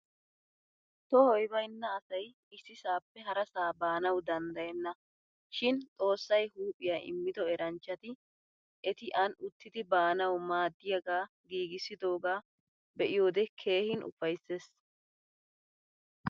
Tohoy baynna asay issisaappe harasaa baanawu danddayenna. Shin xoossay huuphiya immido eranchchati eti an uttidi baanawu maaddiyaagaa giigissidoogaa be'iyoode keehin ufaysses.